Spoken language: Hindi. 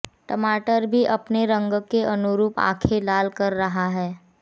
टमाटर भी अपने रंग के अनुरूप आंखें लाल कर रहा है